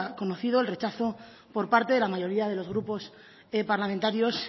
conocido el rechazo por parte de la mayoría de los grupos parlamentarios